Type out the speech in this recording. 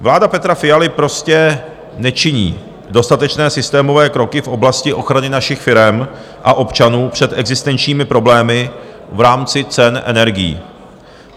Vláda Petra Fialy prostě nečiní dostatečné systémové kroky v oblasti ochrany našich firem a občanů před existenčními problémy v rámci cen energií.